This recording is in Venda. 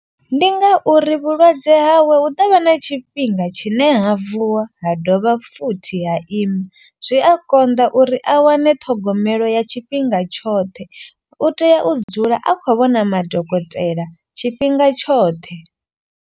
Ndi ngauri vhulwadze hawe hu ḓovha na tshifhinga tshine ha vuwa ha dovha futhi ha ima. Zwi a konḓa uri a wane ṱhogomelo ya tshifhinga tshoṱhe. U tea u dzula a khou vhona madokotela tshifhinga tshoṱhe.